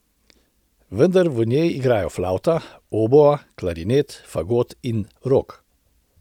Vendar v njej igrajo flavta, oboa, klarinet, fagot in rog.